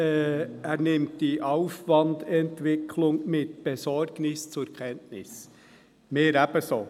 Er nimmt die «Aufwandentwicklung mit Besorgnis zur Kenntnis», wir ebenso.